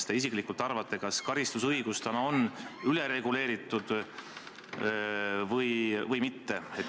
Mis te isiklikult arvate: kas karistusõigus on meil ülereguleeritud või mitte?